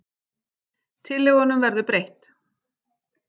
Tillögunum verður breytt